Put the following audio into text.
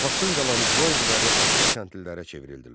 Torpaqsız qalan icma üzvləri asılı kəndlilərə çevrildilər.